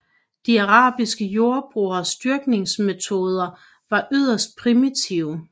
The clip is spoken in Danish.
De arabiske jordbrugeres dyrkningsmetoder var yderst primitive